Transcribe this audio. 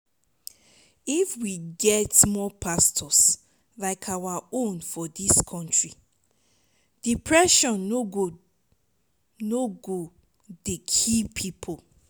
if we fit get more pastors like our own for dis country depression no go no go dey kill people